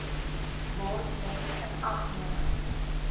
word met inagneming